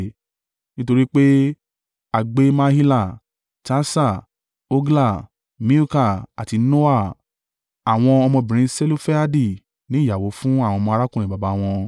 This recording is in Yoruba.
Nítorí pé a gbé Mahila, Tirsa, Hogla, Milka, àti Noa, àwọn ọmọbìnrin Selofehadi ní ìyàwó fún àwọn ọmọ arákùnrin baba wọn.